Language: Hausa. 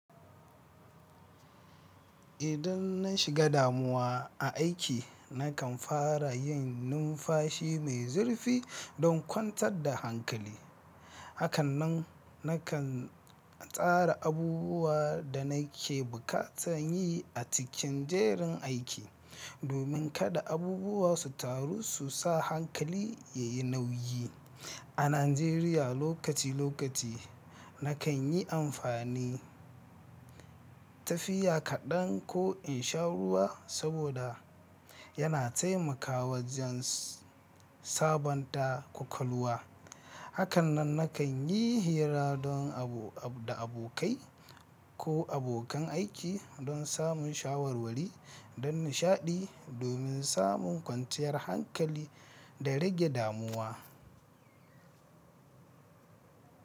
Idan na shiga damuwa a aiki, na kan fara yin numfashi mai zurfi don kwantar da hankali. Hakanan, na kan tsara abubuwan da nake bukata yin a cikin jerin aiki, domin kada abubuwa su taru su sa hankali ya yi nauyi. A Najeriya lokaci-lokaci, na kan yi amfani tafiya kaɗan ko in sha ruwa saboda yana taimakawa wajen sabanta ƙwaƙwalwa. Hakannan na kan yi hira da abokai ko abokan aiki don samun shawarwari da nishaɗi domin samun kwanciyar hankali da rage damuwa.